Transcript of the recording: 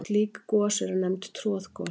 Slík gos eru nefnd troðgos.